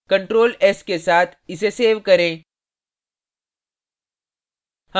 ctrl s के साथ इसे सेव करें